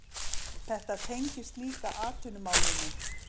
Þetta tengist líka atvinnumálunum